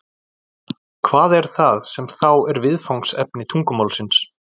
hvað er það sem þá er viðfangsefni tungumálsins